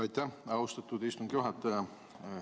Aitäh, austatud istungi juhataja!